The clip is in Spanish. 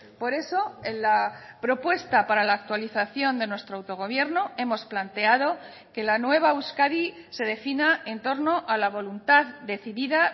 por eso en la propuesta para la actualización de nuestro autogobierno hemos planteado que la nueva euskadi se defina en torno a la voluntad decidida